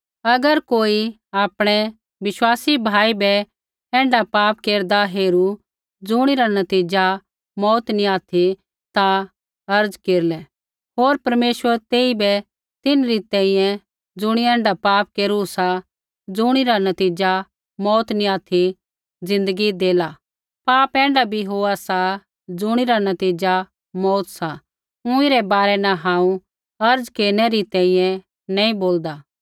अगर कोई आपणै विश्वासी भाई बै ऐण्ढा पाप केरदा हेरू ज़ुणिरा नतीज़ा मौऊत नी ऑथि ता अर्ज़ा केरलै होर परमेश्वर तेइबै तिन्हरी तैंईंयैं ज़ुणियै ऐण्ढा पाप केरू सा ज़ुणिरा नतीज़ा मौऊत नी ऑथि ज़िन्दगी देला पाप ऐण्ढा भी होआ सा ज़ुणिरा नतीज़ा मौऊत सा ऊँई रै बारै न हांऊँ अर्ज़ा केरनै री तैंईंयैं नैंई बोलदा